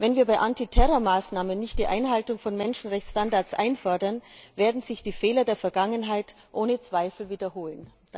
Wenn wir bei Antiterror Maßnahmen nicht die Einhaltung von Menschenrechtsstandards einfordern, werden sich die Fehler der Vergangenheit ohne Zweifel wiederholen.